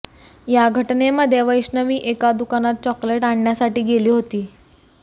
या घटनेमध्ये वैष्णवी एका दुकानात चॉकलेट आणण्यासाठी गेली होती